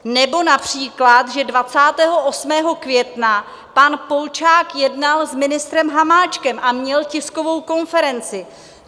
Nebo například, že 28. května pan Polčák jednal s ministrem Hamáčkem a měl tiskovou konferenci.